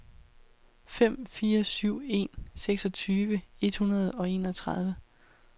fem fire syv en seksogtyve et hundrede og enogtredive